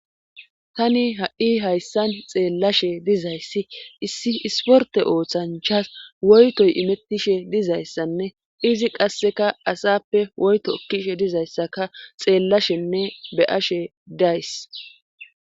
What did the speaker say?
Tani ha7i hayssan xeellashe dizayssi issi isporte ooththanchas woytoy imettishe dizayssanne izi qasseka asappe woyto ekkishe dizayssaka xeellashenne beyashe days.